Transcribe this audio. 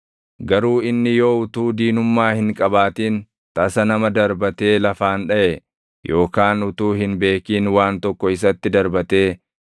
“ ‘Garuu inni yoo utuu diinummaa hin qabaatin tasa nama darbatee lafaan dhaʼe yookaan utuu hin beekin waan tokko isatti darbatee